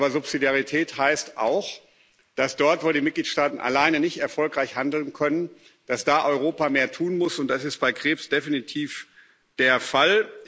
Subsidiarität heißt aber auch, dass dort, wo die Mitgliedstaaten alleine nicht erfolgreich handeln können, Europa mehr tun muss, und das ist bei Krebs definitiv der Fall.